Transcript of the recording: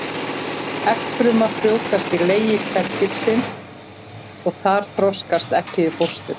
Eggfruman frjóvgast í legi kvendýrsins og þar þroskast eggið í fóstur.